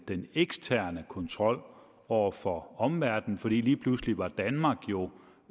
den eksterne kontrol over for omverdenen for lige pludselig var danmark jo